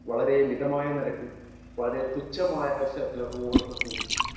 speaker 1 വളരെ മിതമായ നിരക്കിൽ വളരെ തുച്ഛമായ ചെലവോടുകൂടി